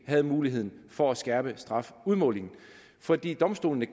havde muligheden for at skærpe strafudmålingen fordi domstolene